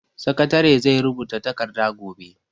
Sakatare zai rubuta takarda gobe.